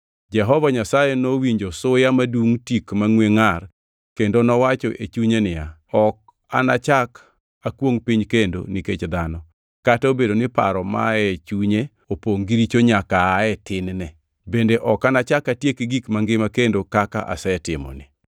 Jehova Nyasaye nowinjo suya madungʼ tik mangʼwe ngʼar kendo nowacho e chunye niya, “Ok anachak akwongʼ piny kendo nikech dhano, kata obedo ni paro ma aye chunye opongʼ gi richo nyaka aa e tin-ne. Bende ok anachak atiek gik mangima kendo kaka asetimoni.